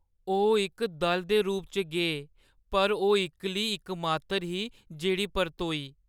ओह् इक दल दे रूप च गे पर ओह् इक्कली इक मात्तर ही जेह्ड़ी परतोई।